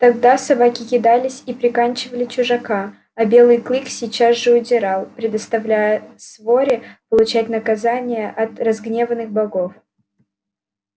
тогда собаки кидались и приканчивали чужака а белый клык сейчас же удирал предоставляя своре получать наказание от разгневанных богов